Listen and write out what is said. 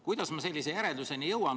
Kuidas ma sellise järelduseni jõudsin?